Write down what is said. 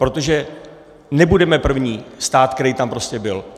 Protože nebudeme první stát, který tam prostě byl.